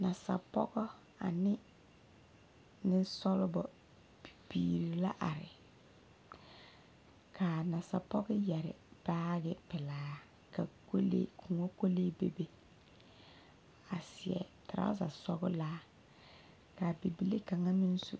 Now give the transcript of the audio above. Nasapɔge ane nensɔglɔ bibiiri la are ka a nasapɔge yɛre baagepelaa ka kolee koɔ kolee bebe a seɛ trouser sɔglaa ka a bibile kaŋa meŋ su.